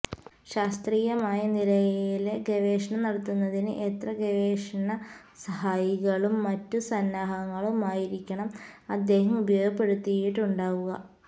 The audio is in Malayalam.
ശാസ്ത്രീയമായ നിലയില് ഗവേഷണം നടത്തുന്നതിന് എത്ര ഗവേഷണ സഹായികളും മറ്റു സന്നാഹങ്ങളുമായിരിക്കണം അദ്ദേഹം ഉപയോഗപ്പെടുത്തിയിട്ടുണ്ടാവുക